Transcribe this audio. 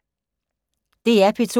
DR P2